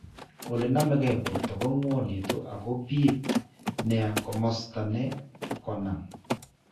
Ole nameke borto ko ng'wanitu ak kobiit nia komosta ne konam.